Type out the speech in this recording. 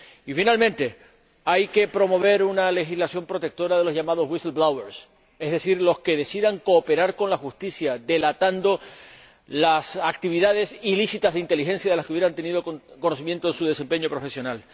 Y, por último, hay que promover una legislación protectora de los llamados whistleblowers es decir, los que decidan cooperar con la justicia delatando las actividades ilícitas de inteligencia de las que hubieran tenido conocimiento en su desempeño profesional.